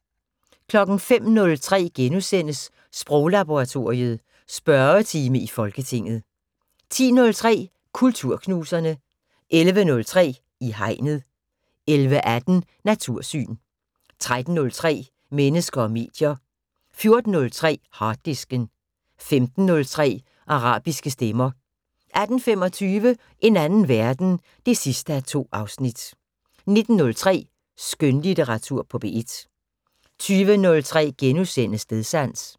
05:03: Sproglaboratoriet: Spørgetime i Folketinget * 10:03: Kulturknuserne 11:03: I Hegnet 11:18: Natursyn 13:03: Mennesker og medier 14:03: Harddisken 15:03: Arabiske stemmer 18:25: En anden verden 2:2 19:03: Skønlitteratur på P1 20:03: Stedsans *